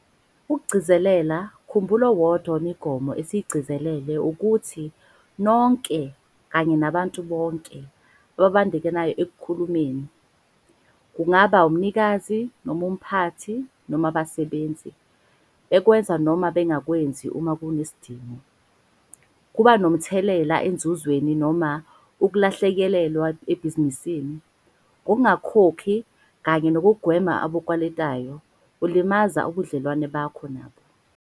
Ukugcizelela khumbula owodwa wemigomo esiyigcizelele ukuthi nonke kanye nabantu bonke, ababandakanyekayo ekulimeni, kungaba umnikazi noma umphathi noma abasebenzi, bekwenza noma bengakwenzi uma kunesidingo, kuba nomthelela enzuzweni, noma ukulahlekelwa ebhizinisini. Ngokungakhokhi kanye nokugwema obakweletayo ulimaza ubudlelwano bakho nabo.